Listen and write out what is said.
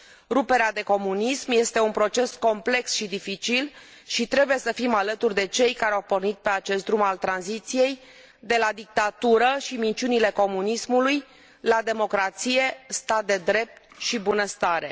Ruperea de comunism este un proces complex și dificil și trebuie să fim alături de cei care au pornit pe acest drum al tranziției, de la dictatură și minciunile comunismului la democrație, stat de drept și bunăstare.